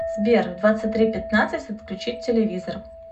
сбер в двадцать три пятнадцать отключить телевизор